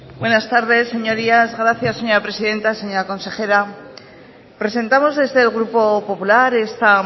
buenas tardes señorías gracias señora presidenta señora consejera presentamos desde el grupo popular esta